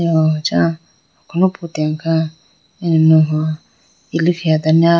aw acha alo phutene kha imuhuwa ilikhi adane a.